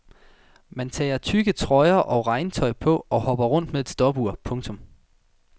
Man tager tykke trøjer og regntøj på og hopper rundt med et stopur. punktum